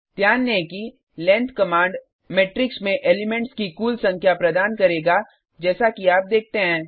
ध्यान दें कि लेंग्थ कमांड मेट्रिक्स में एलिमेंट्स की कुल संख्या प्रदान करेगा जैसा कि आप देखते हैं